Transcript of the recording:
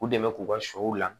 U dɛmɛ k'u ka sɔw la